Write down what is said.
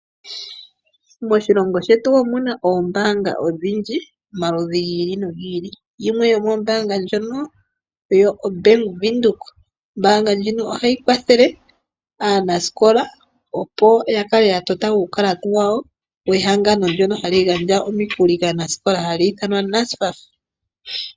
Moshilongo shetu omu na oombaanga omaludhi gi ili nogi ili. Yimwe yomoombaanga ndhono oyo oBank Windhoek. Ombaanga ndjino ohayi kwathele aanasikola, opo ya kale ya patulula omayalulo gawo gombaanga gehangano ndyoka hali gandja omikuli kaanasikola lyedhina NSFAF.